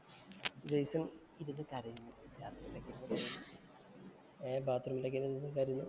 Jason‍ ഇരുന്നു കരയുന്നു. ഏർ ബാത്‌റൂമിലോക്കെ ഇരുന്നു കരയുകാ. ഒരു കരോട്ടയുടെ ക്ലാസ്.